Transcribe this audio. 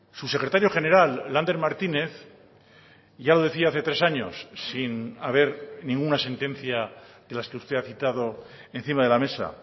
su secretario general lander martínez ya lo decía hace tres años sin haber ninguna sentencia de las que usted ha citado encima de la mesa